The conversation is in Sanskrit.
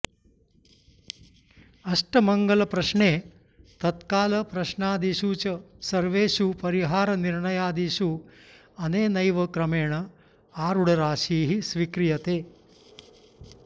अष्टमङ्गलप्रश्ने तत्कालप्रश्नादिषु च सर्वेषु परिहारनिर्णयादिषु अनेनैव क्रमेण आरूढराशिः स्वीक्रियते